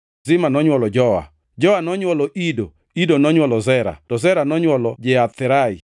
Zima nonywolo Joa, Joa nonywolo Ido, Ido nonywolo Zera to Zera nonywolo Jeatherai.